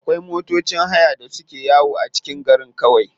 Akwai matocin haya da suke yawo a cikin garin kawai.